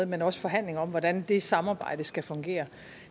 men også forhandling om hvordan det samarbejde skal fungere